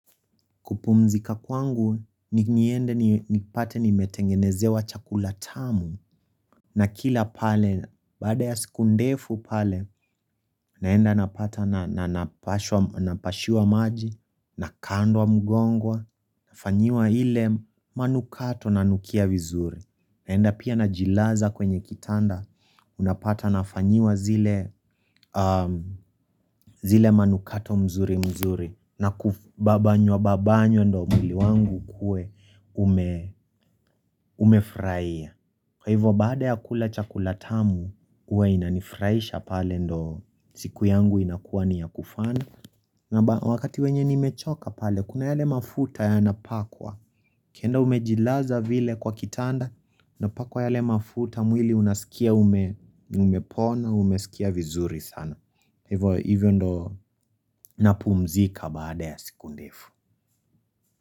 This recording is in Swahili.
Kupumzika kwangu ni niende ni pate ni metengenezewa chakula tamu na kila pale baada ya siku ndefu pale naenda napata na napashiwa maji na kandwa mugongwa na fanyiwa hile manukato na nukia vizuri. Naenda pia na jilaza kwenye kitanda, unapata na fanyiwa zile manukato mzuri mzuri na kubabanywa babanyw ndo mwili wangu kue umefraia Kwa hivyo baada ya kula chakulatamu, uwe inanifraisha pale ndo siku yangu inakuwa ni ya kufana na wakati wenye ni mechoka pale, kuna yale mafuta ya napakwa ukienda umejilaza vile kwa kitanda na pakwa yale mafuta mwili unasikia umepona Umesikia vizuri sana Hivyo ndo napumzika baada ya sikundefu.